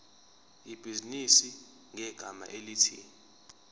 ibhizinisi ngegama elithi